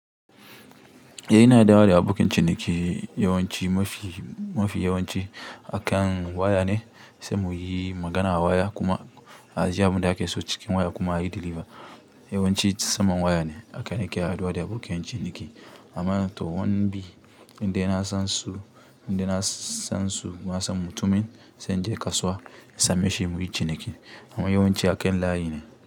In dayawa da abokin ciniki yawanci mafi yawanci akan waya ne, sai muyi magana a waya kuma a ji abunda aka so cikin waya kuma a yi diliva. Yawanci saman waya ne haka nake haɗuwa da abokin ciniki amman to wani bi inde yana san su, inde na san su, nasan mutumin sai in je kasuwa in same shi muyi ciniki. Amma yawan ci akan layi ne.